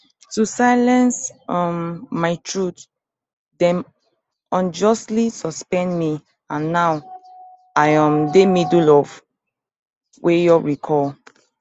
to silence um my truth dem unjustly suspend me and now i um dey middle of wayo recall